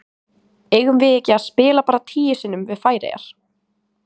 Eigum við ekki að spila bara tíu sinnum við Færeyjar?